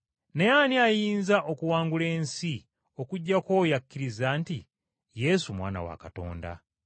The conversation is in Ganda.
Naye ani ayinza okuwangula ensi okuggyako oyo akkiriza nti Yesu Mwana wa Katonda?